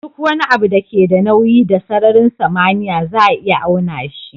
Duk wani abu da ke da nauyi da sararin samaniya za a iya auna shi